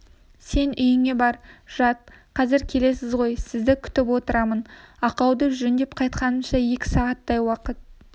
сен үйіңе бар жат қазір келесіз ғой сізді күтіп отырамын ақауды жөндеп қайтқанымша екі сағаттай уақыт